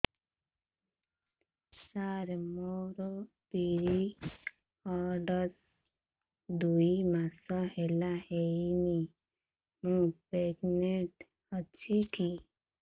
ସାର ମୋର ପିରୀଅଡ଼ସ ଦୁଇ ମାସ ହେଲା ହେଇନି ମୁ ପ୍ରେଗନାଂଟ ଅଛି କି